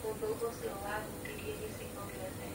ũthũ ũcio wahutirie gĩcigo gĩothe.